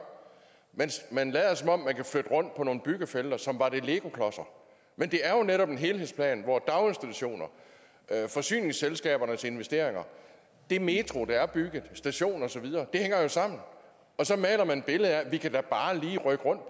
man lader som om man kan flytte rundt på nogle byggefelter som om det er legoklodser men det er jo netop en helhedsplan daginstitutioner forsyningsselskaberne til investeringerne den metro der er bygget stationen og så videre hænger jo sammen og så maler man et billede af at vi da bare lige kan rykke rundt